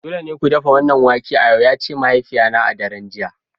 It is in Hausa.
Dole ne ku dafa wannan wake a yau! ya ce min mahaifiyata a daren jiya